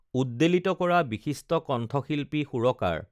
উদ্বেলিত কৰা বিশিষ্ট কণ্ঠশিল্পী সুৰকাৰ